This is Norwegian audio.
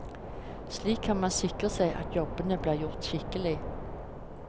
Slik kan man sikre seg at jobbene blir gjort skikkelig.